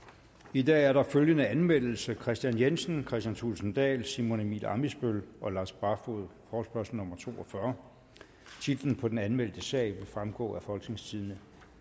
i dag er der følgende anmeldelse kristian jensen kristian thulesen dahl simon emil ammitzbøll og lars barfoed forespørgsel nummer f to og fyrre titlen på den anmeldte sag vil fremgå af folketingstidende